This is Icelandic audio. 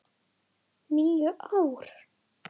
. níu ár!